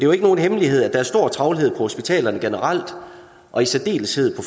jo ikke nogen hemmelighed at der er stor travlhed på hospitalerne generelt og i særdeleshed